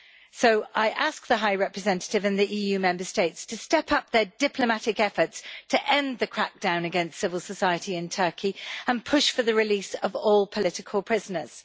So I ask the High Representative and the EU Member States to step up their diplomatic efforts to end the crackdown against civil society in Turkey and push for the release of all political prisoners.